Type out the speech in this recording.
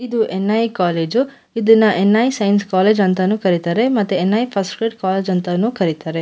ಇದು N I. College ಇದನ್ನ N I. Science college ಅಂತಾನೂ ಕರಿತಾರೆ ಮತ್ತೆ ಎನ್.ಐ. ಫಸ್ಟ್ ಗ್ರೇಡ್ ಕಾಲೇಜ್ ಅಂತಾನೂ ಕರಿತಾರೆ.